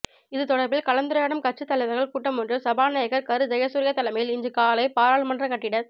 இது தொடர்பில் கலந்துரையாடும் கட்சித் தலைவர்கள் கூட்டமொன்று சபாநாயகர் கரு ஜயசூரிய தலைமையில் இன்று காலை பாராளுமன்ற கட்டிடத்